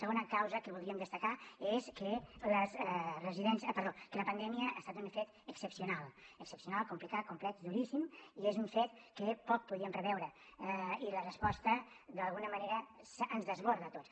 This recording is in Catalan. segona causa que voldríem destacar és que la pandèmia ha estat un fet excepcional excepcional complicat complex duríssim i és un fet que poc podíem preveure i la resposta d’alguna manera ens desborda a tots